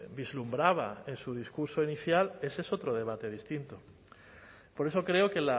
vislumbraba en su discurso inicial ese es otro debate distinto por eso creo que